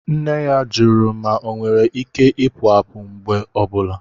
Nne ya jụrụ ma ọnwere Ike Ipu àpu mgbe ọ bụla